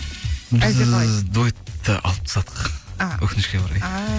біз дуэтті алып тастадық а өкінішке орай ааа